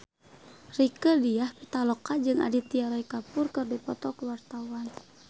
Rieke Diah Pitaloka jeung Aditya Roy Kapoor keur dipoto ku wartawan